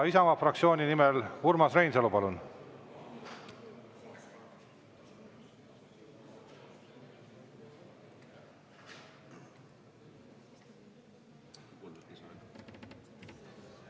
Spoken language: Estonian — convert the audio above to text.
Isamaa fraktsiooni nimel Urmas Reinsalu, palun!